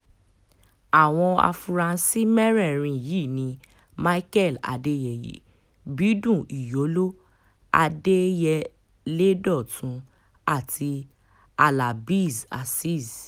àwọn afurasí mẹ́rẹ̀ẹ̀rin yìí ni michael adéyẹyẹ bídún ìyóló adélyẹlé dọ́tun àti halábéez azeez